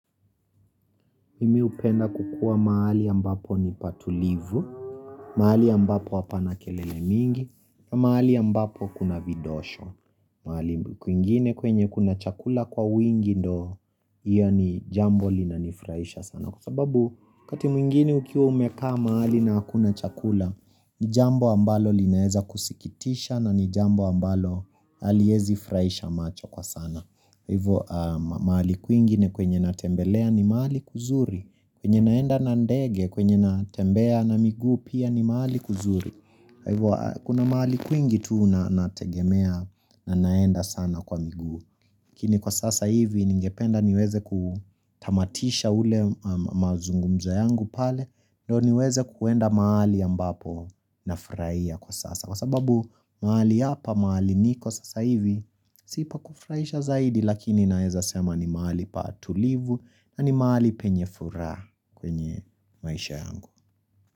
Mimi hupenda kukua mahali ambapo ni patulivu, mahali ambapo hapana kelele mingi, mahali ambapo kuna vidosho. Mahali kwingine kwenye kuna chakula kwa wingi ndo iyo ni jambo linanifurahisha sana. Kwa sababu wakati mwingine ukiwa umekaa mahali na hakuna chakula, ni jambo ambalo linaeza kusikitisha na ni jambo ambalo haliezi furahisha macho kwa sana. Kwa hivo mahali kwingi ni kwenye natembelea ni mahali kuzuri kwenye naenda na ndege kwenye natembea na miguu pia ni mahali kuzuri kwa hivo kuna mahali kwingi tu na nategemea na naenda sana kwa miguu lakini kwa sasa hivi ningependa niweze kutamatisha ule mazungumzo yangu pale ndio niweze kuenda mahali ambapo nafurahia kwa sasa. Kwa sababu mahali hapa, mahali niko sasa hivi, si pakufurahisha zaidi lakini naeza sema ni mahali patulivu na ni mahali penye furaha kwenye maisha yangu.